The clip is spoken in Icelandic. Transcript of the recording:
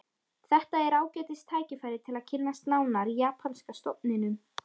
Þetta er ágætis tækifæri til að kynnast nánar japanska stofninum